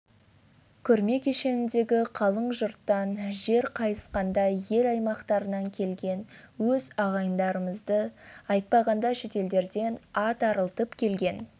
көрме кешеніндегі қалың жұрттан жер қайысқандай ел аймақтарынан келген өз ағайындарымызды айтпағанда шетелдерден ат арылтып келген